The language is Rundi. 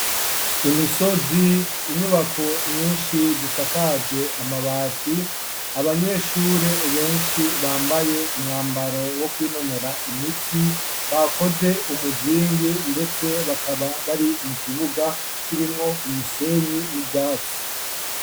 Imisozi inyubako nyinshi zisakajwe amabati abanyeshuri benshi bambaye umwambaro wo kwinonora imitsi bakoze umuzingi ndetse bakaba bari mu kibuga kirimwo umusenyi n'ubwatsi.